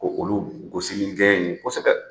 Ko olu gosi ni gɛɲɛ ye kosɛbɛ